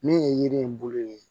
Min ye yiri in bolo ye